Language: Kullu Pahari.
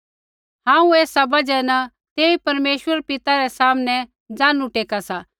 हांऊँ एसा बजहा न तेई परमेश्वर पिता रै सामनै घुटनै टेका सा